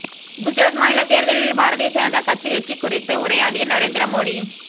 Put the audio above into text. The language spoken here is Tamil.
குஜராத் மாநில தேர்தலில் பாரதீய ஜனதா கட்சி வெற்றி குறித்து உரையாடிய நரேந்திர மோடி